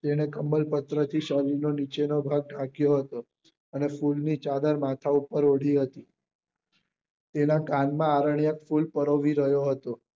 તેને કમળપત્ર થી શરીર નો નીચે નો ભાગ ઢાંક્યો હતો અને ફૂલ ની ચાદર માથા ઉપર ઓઢી હતી તેના તેના કાન માં આરન્ક્ય ફૂલ પરોવી રહ્યો હતો